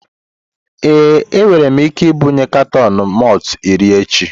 Ee, enwere m ike ibunye katọn malt iri echi.